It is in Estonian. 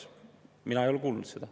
Mina ei ole kuulnud seda.